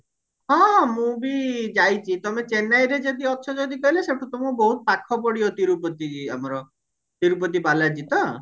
ହଁ ହଁ ମୁଁ ବି ଯାଇଛି ତମେ ଚେନ୍ନାଇରେ ଯଦି ଅଛ ଯଦି ତାହେଲେ ସେଇଠୁ ତମକୁ ବହୁତ ପାଖ ପଡିବ ତିରୁପତିକି ଆମର ତିରୁପତି ବାଲାଜୀ ତ